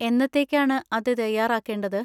എന്നത്തേക്കാണ് അത് തയ്യാർ ആക്കേണ്ടത്?